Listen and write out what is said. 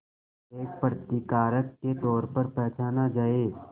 एक प्रतिकारक के तौर पर पहचाना जाए